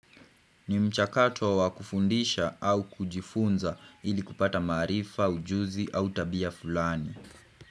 Ni mchakato wa kufundisha au kujifunza ili kupata maarifa, ujuzi au tabia fulani.